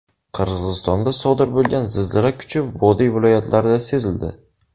Qirg‘izistonda sodir bo‘lgan zilzila kuchi vodiy viloyatlarida sezildi.